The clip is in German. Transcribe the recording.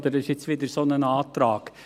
Das ist wieder ein solcher Antrag.